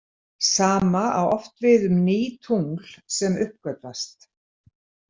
Sama á oft við um ný tungl sem uppgötvast.